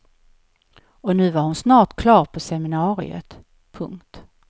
Och nu var hon snart klar på seminariet. punkt